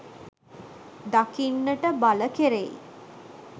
දකින්නට බල කෙරෙයි